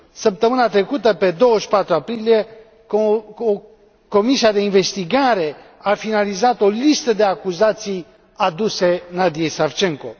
Săptămâna trecută, pe 24 aprilie, comisia de investigare a finalizat o listă de acuzații aduse Nadiyei Savchenko.